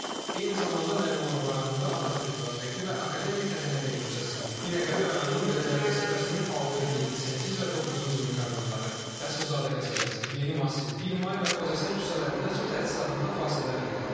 Eyni zamanda Nərimanov rayonunda Atatürk prospekti və Akademik Həsən Əliyev küçəsində, Binəqədi rayonunun Biləcəri qəsəbəsinin altı, yeddi, səkkiz və doqquzuncu mikrorayonları, Rəsulzadə qəsəbəsi, Yeni Masiv, Bir May və Xocasən küçələrində su təchizatında fasilələr qeydə alınıb.